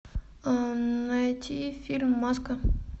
найти фильм маска